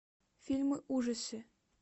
фильмы ужасы